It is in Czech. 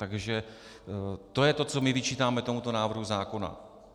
Takže to je to, co my vyčítáme tomuto návrhu zákona.